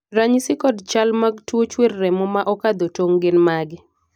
ranyisi kod chal mag tuo chuer remo ma okadho tong' gin mage?